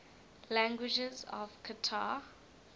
languages of qatar